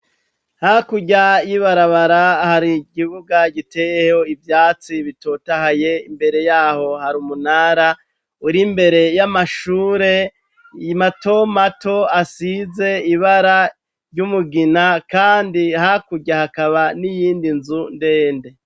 Hakurya y'ibarabara hari ikibuga giteyeho ivyatsi bitotahaye imbere yaho hari umunara uri mbere y'amashure matomato asize ibara ry'umugina kandi hakurya hakaba n'iyindi nzu ndende.